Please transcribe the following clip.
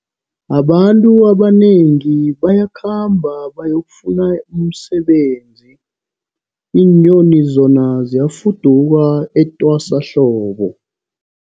Abantu abanengi bayakhamba bayokufuna umsebenzi, iinyoni zona ziyafuduka etwasahlobo.